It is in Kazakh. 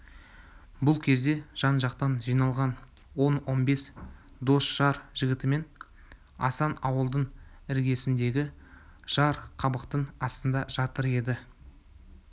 бұл кезде жан-жақтан жиналған он он бес дос-жар жігітімен асан ауылдың іргесіндегі жар қабақтың астында жатыр еді